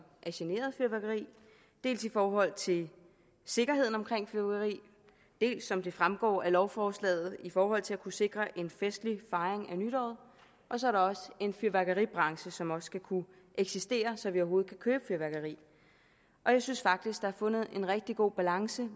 er generet af fyrværkeri dels i forhold til sikkerheden omkring fyrværkeri dels som det fremgår af lovforslaget i forhold til at kunne sikre en festlig fejring af nytår og så er der en fyrværkeribranche som også skal kunne eksistere så vi overhovedet kan købe fyrværkeri og jeg synes faktisk der er fundet en rigtig god balance